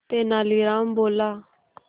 तेनालीराम बोला